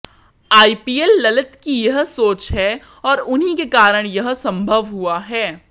IPL Lalit की ही सोच है और उन्हीं के कारण यह संभव हुआ है